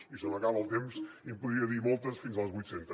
i se m’acaba el temps i en podria dir moltes fins a les vuit centes